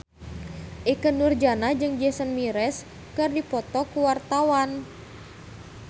Ikke Nurjanah jeung Jason Mraz keur dipoto ku wartawan